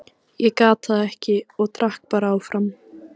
Ég gat það ekki og drakk bara áfram.